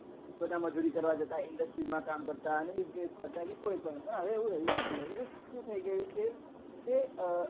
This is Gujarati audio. ગધા મજુરી કરવા જતા industry મા કામ કરતા અને business કરતા કે કોઈ પણ હવે એવું રહ્યું નથી હવે શું થઇ ગયું છે કે